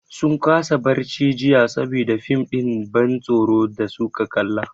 Sun kasa barci jiya saboda fim ɗin ban tsoron da su ka kalla.